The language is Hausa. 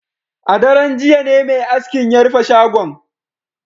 A daren jiya ne mai askin ya rufe shagon